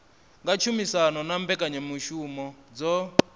nga tshumisano na mbekanyamushumo dzo